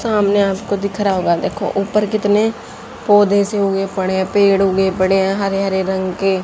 सामने आपको दिख रहा होगा देखो ऊपर कितने पौधे से उगे पड़े हैं पेड़ उगे पड़े हैं हरे हरे रंग के--